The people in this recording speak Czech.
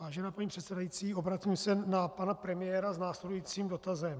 Vážená paní předsedající, obracím se na pana premiéra s následujícím dotazem.